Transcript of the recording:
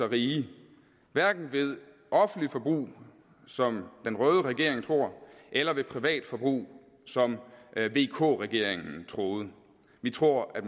rige hverken ved offentligt forbrug som den røde regeringen tror eller ved privatforbrug som vk regeringen troede vi tror at